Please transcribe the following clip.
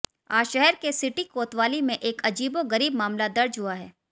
आज शहर के सिटी कोतवाली में एक अजीबो गरीब मामला दर्ज हुआ है